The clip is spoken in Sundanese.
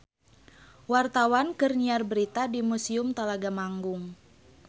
Wartawan keur nyiar berita di Museum Talaga Manggung